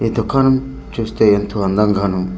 ఈ దుకాణం చూస్తే ఏంతో అందంగాను .